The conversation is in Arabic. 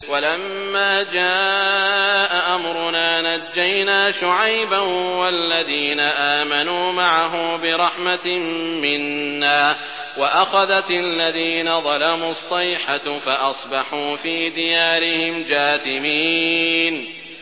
وَلَمَّا جَاءَ أَمْرُنَا نَجَّيْنَا شُعَيْبًا وَالَّذِينَ آمَنُوا مَعَهُ بِرَحْمَةٍ مِّنَّا وَأَخَذَتِ الَّذِينَ ظَلَمُوا الصَّيْحَةُ فَأَصْبَحُوا فِي دِيَارِهِمْ جَاثِمِينَ